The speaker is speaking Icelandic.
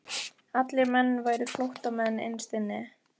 Allir menn væru flóttamenn innst inni.